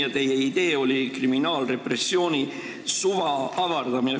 Ja teie idee oli kriminaalrepressiooni suva avardamine.